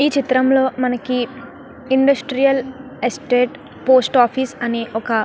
ఈ చిత్రం లో మనకి ఇండస్ట్రియల్ ఎస్టేట్ పోస్ట్ ఆఫీస్ అనే ఒక --